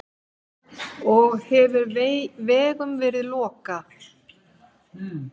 Og hefur vegum verið lokað